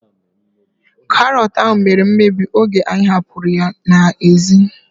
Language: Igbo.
Karọt ahu mere mmebi oge anyị hapụrụ ya n'ezi